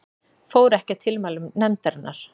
Fór ekki að tilmælum nefndarinnar